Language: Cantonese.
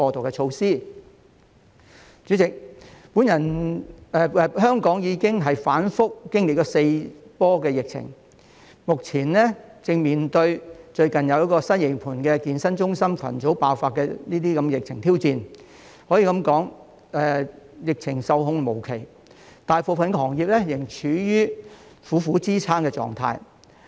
代理主席，香港已經反覆經歷四波疫情，目前正面對最近西營盤健身中心群組爆發的疫情挑戰，可以說疫情受控無期，大部分行業仍處於苦苦支撐的狀態。